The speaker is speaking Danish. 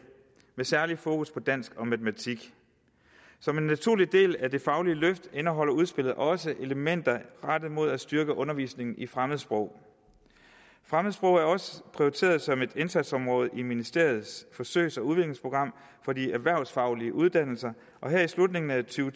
med særlig fokus på dansk og matematik som en naturlig del af det faglige løft indeholder udspillet også elementer rettet mod at styrke undervisningen i fremmedsprog fremmedsprog er også prioriteret som et indsatsområde i ministeriets forsøgs og udviklingsprogram for de erhvervsfaglige uddannelser og her i slutningen af to